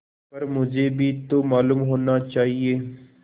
पर मुझे भी तो मालूम होना चाहिए